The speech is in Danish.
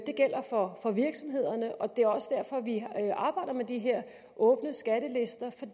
gælder for virksomhederne og det er også derfor at vi arbejder med de her åbne skattelister for